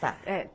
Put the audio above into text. Tá.